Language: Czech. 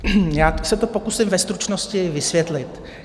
Já se to pokusím ve stručnosti vysvětlit.